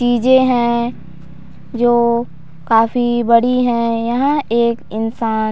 चीजें हैं जो काफी बड़ी हैं यहाँ एक इंसान --